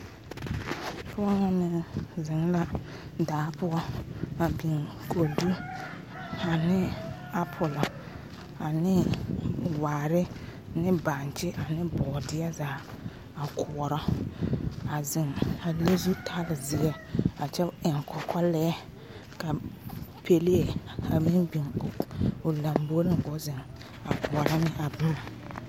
Pɔge ŋa meŋ zeŋ la daa poɔ a biŋ kodo ane apule ane waare ne bonkyi ne boodeɛ zaa a koɔrɔ a zeŋ a le zutali ziɛ a kyɛ eŋ kɔkɔ lɛɛ ka pelee a meŋ biŋ o lanbore ko'o zeŋ koɔrɔ ne a boma.